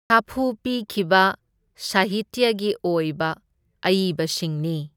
ꯁꯥꯐꯨ ꯄꯤꯈꯤꯕ ꯁꯥꯍꯤꯇ꯭ꯌꯒꯤ ꯑꯣꯏꯕ ꯑꯏꯕꯁꯤꯡꯅꯤ꯫